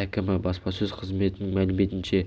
әкімі баспасөз қызметінің мәліметінше